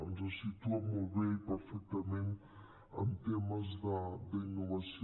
ens situa molt bé i perfectament en temes d’innovació